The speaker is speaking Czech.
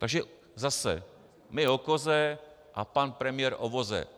Takže zase - my o koze a pan premiér o voze.